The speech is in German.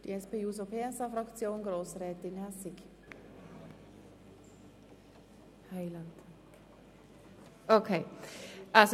Für die SP-JUSO-PSA-Fraktion hat Grossrätin Hässig das Wort.